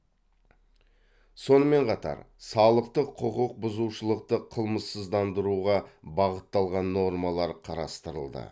сонымен қатар салықтық құқық бұзушылықты қылмыссыздандыруға бағытталған нормалар қарастырылды